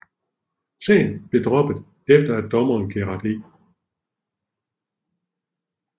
Sagen blev droppet efter at dommer Gerard E